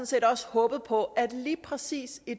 set også håbet på at lige præcis i